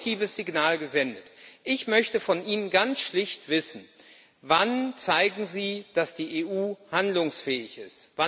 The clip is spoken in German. Er hat ein positives Signal gesendet. Ich möchte von Ihnen ganz schlicht wissen Wann zeigen Sie, dass die EU handlungsfähig ist?